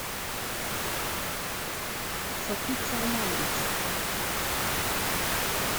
сакит салманович